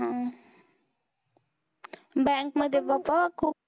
अह bank मध्ये बाबा खूप